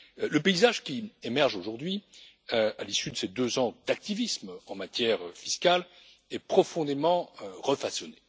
Le paysage qui émerge, aujourd'hui, à l'issue de ces deux ans d'activisme en matière fiscale est profondément refaçonné.